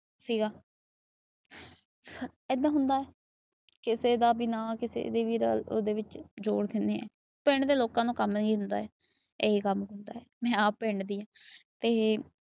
ਸੀ ਗਾ ਏਦਾਂ ਹੁੰਦਾ ਉਹਂਦੇ ਵਿਚ ਜੋੜ ਦਿੰਦੇ ਆ। ਪਿੰਡ ਦੇ ਲੋਕਾਂ ਨੂੰ ਕੰਮ ਇਹੀ ਹੁੰਦਾ। ਇਹੀ ਕੰਮ ਹੁੰਦਾ। ਮੈ ਆਪ ਪਿੰਡ ਦੀ ਆ। ਤੇ